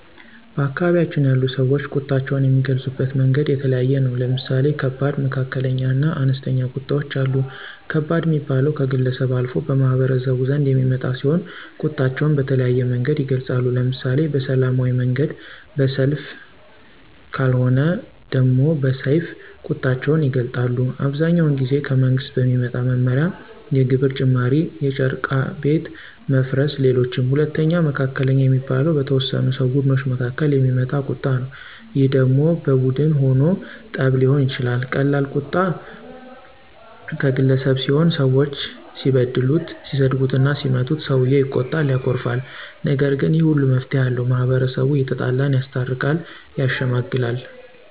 በአካባቢያችን ያሉ ሰወች ቁጣቸውን የሚገልፁበት መንገድ የተለያየ ነው። ለምሳሌ ከባድ፣ መካከለኛ እና አነስተኛ ቁጣወች አሉ። ከባድ ሚባለው ከግለሰብ አልፎ በማህበረሰቡ ዘንድ የሚመጣ ሲሆን ቁጣቸውን በተለያየ መንገድ ይገልፃሉ። ለምሳሌ በሰላማዊ መንገድ በሰልፍ ከልወነ ደሞ በሰይፍ ቁጣቸውን ይገልጣሉ። አብዛኛውን ጊዜ ከመንግስት በሚመጣ መመሪያ የግብር ጭማሪ የጨረቃ ቤት መፍረስ ሌሎችም። ሁለተኛው መካከለኛ የሚባለው በተወሰኑ ሰው ቡድኖች መካከል የሚመጣ ቀጣ ነው ይህ ደሞ በቡን ሁኖ ጠብ ሊሆን ይችላል ቀላል ቁጣ ቀገለሰብ ሲሆን ሰወች ሲበድሉት ሲሰድቡትና ሲመቱት ሰውየው ይቆጣል ያኮርፋል። ነገር ግን ይህ ሁሉ መፍትሄ አለው። ማህበረሰቡ የተጣላን ያስታርቃል። ያሸመግላል